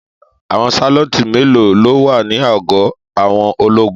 Àwọn sálọ́ńtì mélòó ló wà ní àgọ́ àwọn ológun?